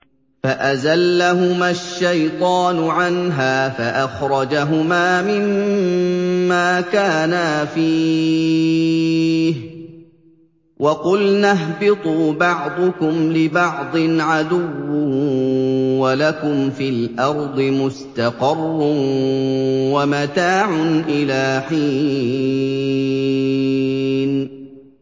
فَأَزَلَّهُمَا الشَّيْطَانُ عَنْهَا فَأَخْرَجَهُمَا مِمَّا كَانَا فِيهِ ۖ وَقُلْنَا اهْبِطُوا بَعْضُكُمْ لِبَعْضٍ عَدُوٌّ ۖ وَلَكُمْ فِي الْأَرْضِ مُسْتَقَرٌّ وَمَتَاعٌ إِلَىٰ حِينٍ